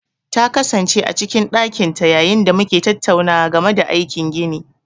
Ta kasance a cikin ɗakin ta yayin da muke tattaunawa game da aikin gini.